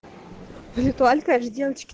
лэтуаль каждой девочке